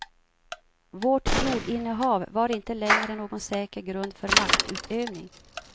Vårt jordinnehav var inte längre någon säker grund för maktutövning.